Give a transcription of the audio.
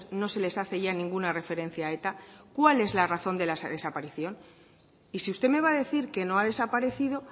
no se les hace ya ninguna referencia a eta cuál es la razón de la desaparición y sí usted me va a decir que no ha desaparecido